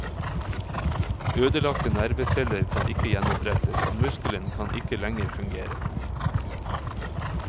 Ødelagte nerveceller kan ikke gjenopprettes, og muskelen kan ikke lenger fungere.